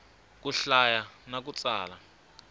ku hlaya na ku tsala